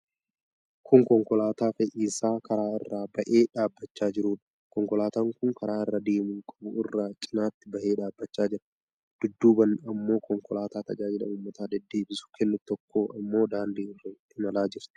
Kun konkolaataa fe'iisaa karaa irraa ba'ee dhabachaa jiruudha. Konkolaataan kun karaa irra deemuu qabu irraa cinaatti bahee dhaabachaa jira. Dudduubaan ammoo konkolaataa tajaajila ummata deddeebisuu kennitu tokko ammoo daandii irra imalaa jirti.